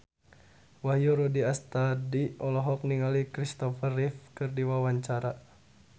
Wahyu Rudi Astadi olohok ningali Christopher Reeve keur diwawancara